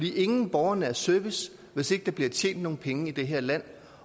er ingen borgernær service hvis ikke der bliver tjent nogle penge i det her land